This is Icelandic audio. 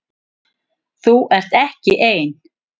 Þú ert ekki ein.